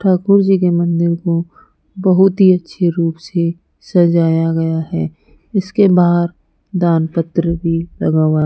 ठाकुर जी के मंदिर को बहुत ही अच्छे रूप से सजाया गया है इसके बाहर दान पत्र भी लगा हुआ --